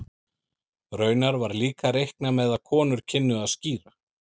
Raunar var líka reiknað með að konur kynnu að skíra.